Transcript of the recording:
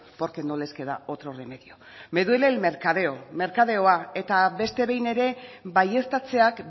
porque no les queda otro remedio me duele el mercadeo merkadeoa eta beste behin ere baieztatzeak